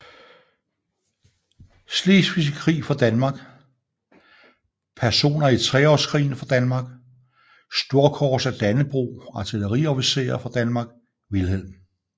Slesvigske Krig fra Danmark Personer i Treårskrigen fra Danmark Storkors af Dannebrog Artilleriofficerer fra Danmark Wilhelm